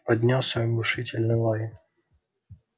поднялся оглушительный лай